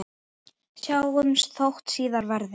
Sjáumst þótt síðar verði.